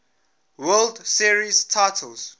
world series titles